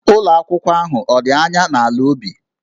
Ụlọ akwụkwọ ahụ ọ̀ dị anya n'ala ubi?